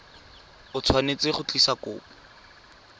o tshwanetse go tlisa kopo